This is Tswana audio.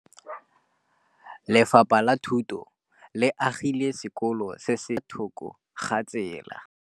Lefapha la Thuto le agile sekôlô se se pôtlana fa thoko ga tsela.